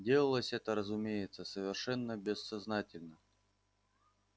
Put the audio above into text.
делалось это разумеется совершенно бессознательно